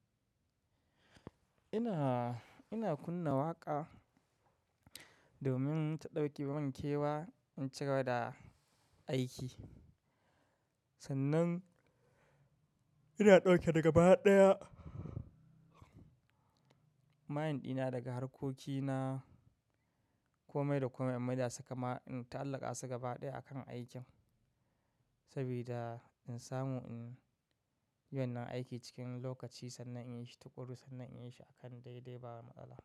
Ina, ina kunna waƙa domin ta ɗauke minkewa in cigaba da aiki. Sannan ina ɗauke daga ba ɗaya. Mashin ɗina daga harkoki na, kome da kome in maida su kama in ta'allaka su gaba ɗaya akan aikin. Sabida in samu in yiwon nan aiki cikin lokaci sannan in yi shi, tukuru sannan in yi shi akan daidai ba matsala.